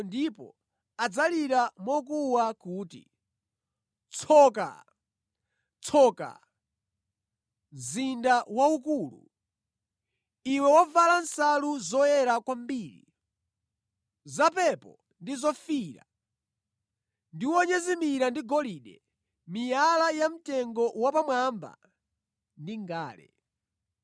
ndipo adzalira mokuwa kuti, “ ‘Tsoka! Tsoka! Mzinda waukulu, iwe wovala nsalu zoyera kwambiri, zapepo ndi zofiira, ndi wonyezimira ndi golide, miyala yamtengo wapamwamba ndi ngale!